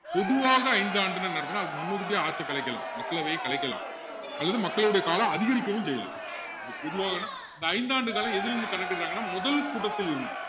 பொதுவாக ஐந்து ஆண்டுனா என்ன அர்த்தம்னா அதுக்கு முன்னுக்கூட்டியே ஆட்சியை கலைக்கலாம் மக்களவையை கலைக்கலாம் அதோட மக்களவையோட காலம் அதிகரிக்கவும் செய்யலாம் அப்படி பொதுவாகன்னா இந்த ஆண்டு காலம் எதுல இருந்து கணக்கிடுறாங்கன்னா முதல் கூட்டத்தில் இருந்து